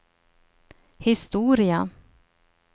historia